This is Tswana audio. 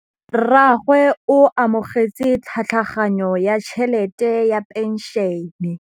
Rragwe o amogetse tlhatlhaganyô ya tšhelête ya phenšene.